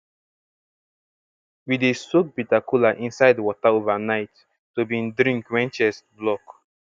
we dey soak bitter kola inside wota overnight to bin drink wen chest block